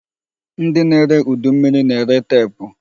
Ndị na-ere udu mmiri na-ere teepu.